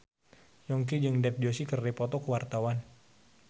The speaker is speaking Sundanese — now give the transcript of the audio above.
Yongki jeung Dev Joshi keur dipoto ku wartawan